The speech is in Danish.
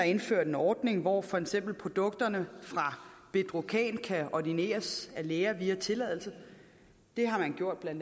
indført en ordning hvor for eksempel produkterne fra bedrocan kan ordineres af læger via tilladelse det har man gjort